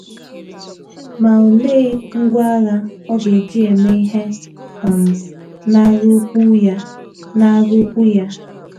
Ma olee ngwá agha ọ ga - eji eme ihe um n’agha ukwu ya n’agha ukwu ya?